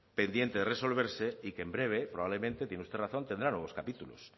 pendiente de resolverse y que en breve probablemente tiene usted razón tendrá nuevos capítulos